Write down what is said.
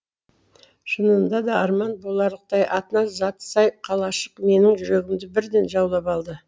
шынында да арман боларлықтай атына заты сай қалашық менің жүрегімді бірден жаулап алды